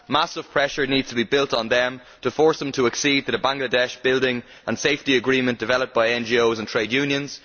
Massive pressure needs to be placed on them to force them to accede to the Bangladesh Building and Safety Agreement developed by NGOs and trade unions.